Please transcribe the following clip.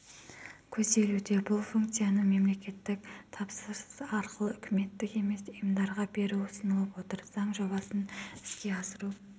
көзделуде бұлфункцияны мемлекеттік тапсырыс арқылы үкіметтік емес ұйымдарға беру ұсынылып отыр заң жобасын іске асыру